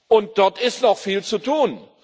und dort ist noch viel zu tun.